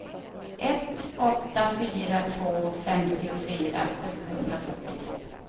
ett åtta fyra två femtiofyra sjuhundrafyrtiotvå